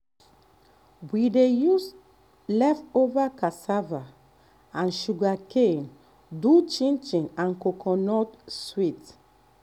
we dey use leftover cassava and um sugarcane do chinchin and coconut sweet.